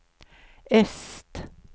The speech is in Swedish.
öst